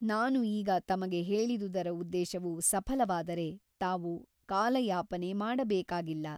ನಾನು ಈಗ ತಮಗೆ ಹೇಳಿದುದರ ಉದ್ದೇಶವು ಸಫಲವಾದರೆ ತಾವು ಕಾಲಯಾಪನೆ ಮಾಡಬೇಕಾಗಿಲ್ಲ.